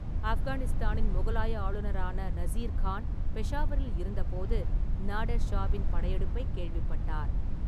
ஆப்கானிஸ்தானின் முகலாய ஆளுநரான நசீர் கான் பெஷாவரில் இருந்தபோது, நாடெர் ஷாவின் படையெடுப்பைக் கேள்விப்பட்டார்.